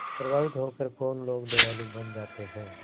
प्रभावित होकर कौन लोग दयालु बन जाते हैं